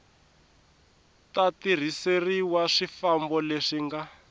ta tirhiseriwa swifambo leswi nga